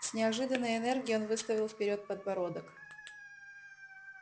с неожиданной энергией он выставил вперёд подбородок